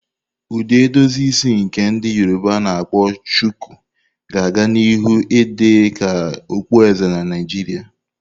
Ụdị edozi isi nke ndi Yoroba a-na akpo shuku, ga a-ga nihu idị ka okpueze na Naijiria.